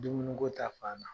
Dumuniko ta fan na.